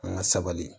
An ka sabali